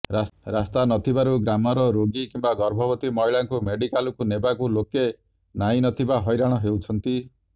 ରାସ୍ତା ନଥିବାରୁ ଗ୍ରାମର ରୋଗୀ କିମ୍ବା ଗର୍ଭବତୀ ମହିଳାଙ୍କୁ ମେଡିକାଲକୁ ନେବାକୁ ଲୋକେ ନାହିଁ ନଥିବା ହଇରାଣ ହେଉଛନ୍ତି